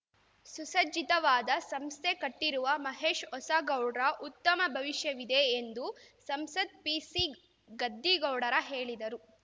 ಸುಸಜ್ಜಿತವಾದ ಸಂಸ್ಥೆ ಕಟ್ಟಿರುವ ಮಹೇಶ್ ಹೊಸಗೌಡ್ರ ಉತ್ತಮ ಭವಿಷ್ಯವಿದೆ ಎಂದು ಸಂಸದ್ ಪಿಸಿಗದ್ದಿಗೌಡರ ಹೇಳಿದರು